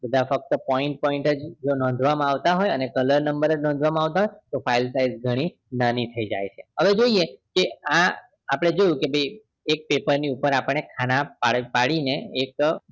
ફક્ત point point જ જો નોધવામાં આવતા હોય અને color number નોધવામાં આવતા હોય file size ઘણી નાની થઇ જાય છે હવે જોઈએ કે આ આપણે જોયું કે એક પેપર ની ઉપર ખાના પાડી ને એક